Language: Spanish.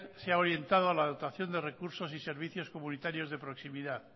se ha orientado a la dotación de recursos y servicios comunitarios de proximidad